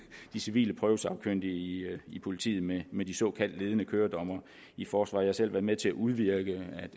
de civile prøvesagkyndige i politiet med med de såkaldte ledende køredommere i forsvaret jeg har selv været med til at udvirke